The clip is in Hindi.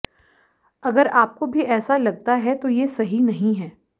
अगर आपको भी ऐसा लगता है तो ये सही नहीं है